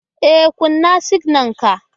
E, kunna siginar ka